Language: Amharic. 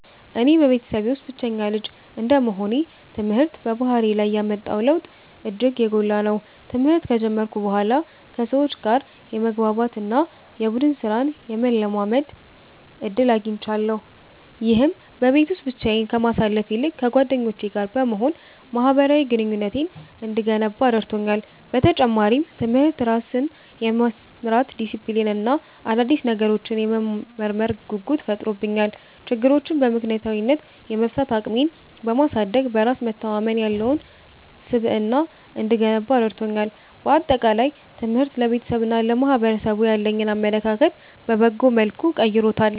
እኔ በቤተሰቤ ውስጥ ብቸኛ ልጅ እንደመሆኔ፣ ትምህርት በባህሪዬ ላይ ያመጣው ለውጥ እጅግ የጎላ ነው። ትምህርት ከጀመርኩ በኋላ ከሰዎች ጋር የመግባባት እና የቡድን ሥራን የመለማመድ ዕድል አግኝቻለሁ። ይህም በቤት ውስጥ ብቻዬን ከማሳልፍ ይልቅ ከጓደኞቼ ጋር በመሆን ማኅበራዊ ግንኙነቴን እንድገነባ ረድቶኛል። በተጨማሪም፣ ትምህርት ራስን የመምራት ዲሲፕሊን እና አዳዲስ ነገሮችን የመመርመር ጉጉት ፈጥሮብኛል። ችግሮችን በምክንያታዊነት የመፍታት አቅሜን በማሳደግ፣ በራስ መተማመን ያለው ስብዕና እንድገነባ ረድቶኛል። በአጠቃላይ፣ ትምህርት ለቤተሰቤና ለማኅበረሰቡ ያለኝን አመለካከት በበጎ መልኩ ቀይሮታል።